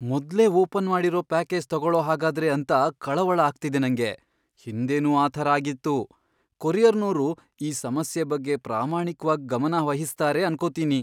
ಮೊದ್ಲೇ ಓಪನ್ ಮಾಡಿರೋ ಪ್ಯಾಕೇಜ್ ತಗೊಳೋಹಾಗಾದ್ರೆ ಅಂತ ಕಳವಳ ಆಗ್ತಿದೆ ನಂಗೆ, ಹಿಂದೆನೂ ಆ ಥರ ಆಗಿತ್ತು. ಕೊರಿಯರ್ನೋರು ಈ ಸಮಸ್ಯೆ ಬಗ್ಗೆ ಪ್ರಾಮಾಣಿಕ್ವಾಗ್ ಗಮನವಹಿಸ್ತಾರೆ ಅನ್ಕೊತೀನಿ.